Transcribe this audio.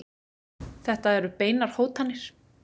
Þetta eru beinar hótanir.